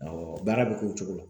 Awɔ baara bɛ k'o cogo la